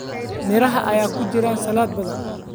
Miraha ayaa ku jira saladh badan.